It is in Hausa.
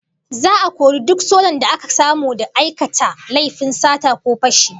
Za'a kori duk sojan da aka samu da aikata laifin sata ko fashi